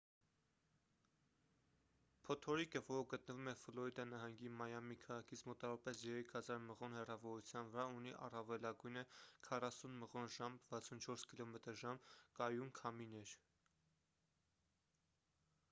փոթորիկը որը գտնվում է ֆլորիդա նահանգի մայամի քաղաքից մոտավորապես 3000 մղոն հեռավորության վրա ունի առավելագույնը 40 մղոն/ժ 64 կմ/ժ կայուն քամիներ: